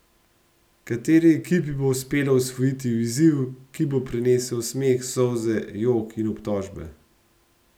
Kateri ekipi bo uspelo osvojiti izziv, ki bo prinesel smeh, solze, jok in obtožbe?